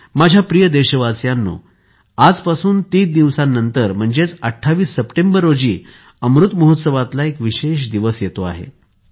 माझ्या प्रिय देशवासियांनो आजपासून तीन दिवसांनंतर म्हणजेच 28 सप्टेंबर रोजी अमृत महोत्सवातला एक विशेष दिवस येतो आहे